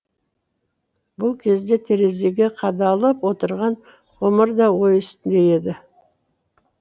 бұл кезде терезеге қадалып отырған ғұмыр да ой үстінде еді